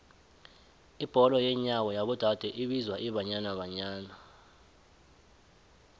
ibholo yenyawo yabo dade ibizwa ibanyana banyana